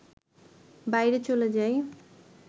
বাইরে চলে যাই